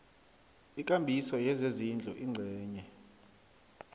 ikambiso yezezindlu ingcenye